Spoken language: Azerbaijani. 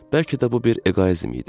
Bəlkə də bu bir eqoizm idi.